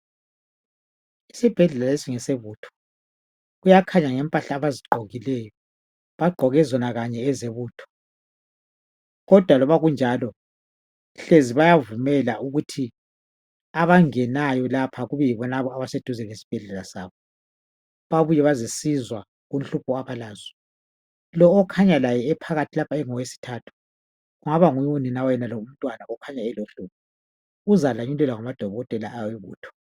Isibhedlela lesi ngesebutho. Kuyakhanya ngempahla abazigqokileyo. Bagqoke zona kanye ezebutho, kodwa loba kunjalo, hlezi bayavumela ukuthi abangenayo lapha kube yibonabo abaseduze lesibhedlela sabo. Babuye bazesizwa kunhlupho abalazo. Lo okhanya laye ephakathi lapha, engowesithathu, kungaba kunguye unina wayenalo umntwana, okhanya elohlupho. Uzalanyulelwa ngamadokotela awebutho.